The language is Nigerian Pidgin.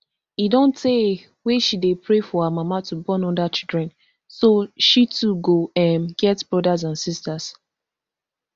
e don tay wey she dey pray for her mama to born oda children so she too go um get brothers and sisters